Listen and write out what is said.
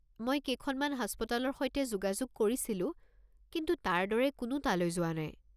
মই কেইখনমান হাস্পতালৰ সৈতে যোগাযোগ কৰিছিলো কিন্তু তাৰ দৰে কোনো তালৈ যোৱা নাই।